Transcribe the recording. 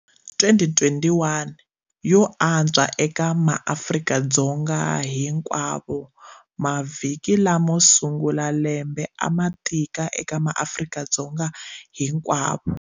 2021 yo antswa eka maAfrika-Dzonga hinkwavo Mavhiki lamo sungula ya lembe a ma tika eka maAfrika-Dzonga hinkwavo.